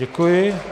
Děkuji.